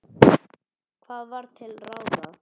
Hvað var til ráða?